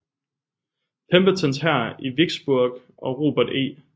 Pembertons hær i Vicksburg og Robert E